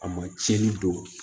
A ma tiɲɛni don